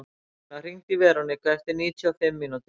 Magnúsína, hringdu í Veroniku eftir níutíu og fimm mínútur.